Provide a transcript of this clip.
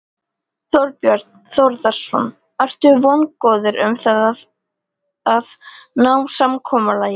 Þorbjörn Þórðarson: Ertu vongóður um það að að ná samkomulagi?